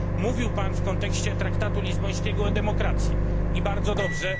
Mówił pan w kontekście traktatu lizbońskiego o demokracji i bardzo dobrze.